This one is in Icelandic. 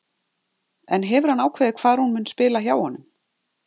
En hefur hann ákveðið hvar hún mun spila hjá honum?